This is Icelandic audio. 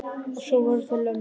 Og svo voru það lömbin.